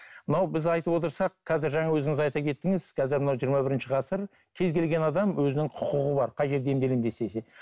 мынау біз айтып отырсақ қазір жаңа өзіңіз айта кеттіңіз қазір мына жиырма бірінші ғасыр кез кезген адам өзінің құқығы бар қай жерде емделемін